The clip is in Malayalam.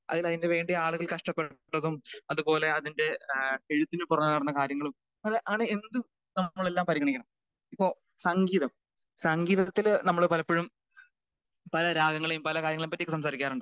അതിന് അതിന് വേണ്ടി ആളുകൾ കഷ്ടപ്പെട്ടതും അത് പോലെ അതിൻ്റെ കുറവാകുന്ന കാര്യങ്ങളും നല്ല അത് എന്തും നമ്മളെല്ലാം പരിഗണിക്കണം. ഇപ്പൊ സംഗീതം സംഗീത്തില് നമ്മള് പലപ്പഴും പല രാഗങ്ങളെയും പല കാര്യങ്ങളെ പറ്റിയും സംസാരിക്കാറുണ്ട്.